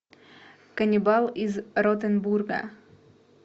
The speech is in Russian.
каннибал из ротенбурга